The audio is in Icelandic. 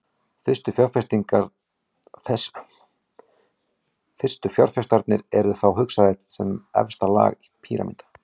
Fyrstu fjárfestarnir eru þá hugsaðir sem efsta lag píramída.